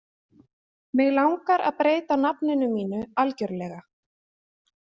Mig langar að breyta nafninu mínu algjörlega.